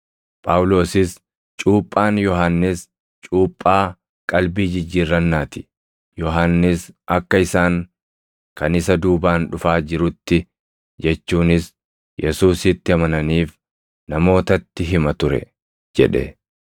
Phaawulosis, “Cuuphaan Yohannis cuuphaa qalbii jijjiirrannaa ti; Yohannis akka isaan kan isa duubaan dhufaa jirutti, jechuunis Yesuusitti amananiif namootatti hima ture” jedhe.